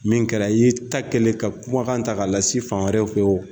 Min kɛra i y'i ta kɛlen ka kumakan ta k'a lase fan wɛrɛw fɛ wo